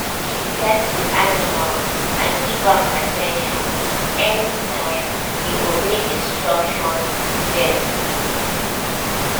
she pet the animal and give am at ten tion anytime e obey instruction gently